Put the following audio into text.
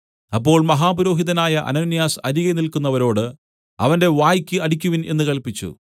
അപ്പോൾ മഹാപുരോഹിതനായ അനന്യാസ് അരികെ നില്ക്കുന്നവരോട് അവന്റെ വായ്ക്ക് അടിയ്ക്കുവിൻ എന്ന് കല്പിച്ചു